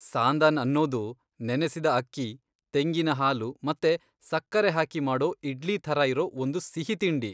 ಸಾಂದನ್ ಅನ್ನೋದು ನೆನೆಸಿದ ಅಕ್ಕಿ, ತೆಂಗಿನ ಹಾಲು ಮತ್ತೆ ಸಕ್ಕರೆ ಹಾಕಿ ಮಾಡೋ ಇಡ್ಲಿ ಥರ ಇರೋ ಒಂದು ಸಿಹಿತಿಂಡಿ.